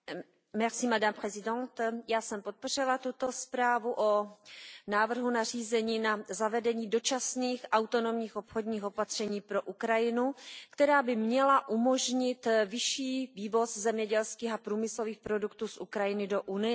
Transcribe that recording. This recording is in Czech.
Paní předsedající, já jsem podpořila tuto zprávu o návrhu nařízení na zavedení dočasných autonomních obchodních opatření pro Ukrajinu, která by měla umožnit vyšší vývoz zemědělských a průmyslových produktů z Ukrajiny do Unie.